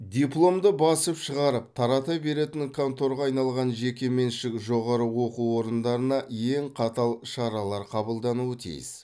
дипломды басып шығарып тарата беретін конторға айналған жекеменшік жоғары оқу орындарына ең қатал шаралар қабылдануы тиіс